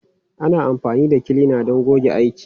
Ana amfani da kilina don goge aiki.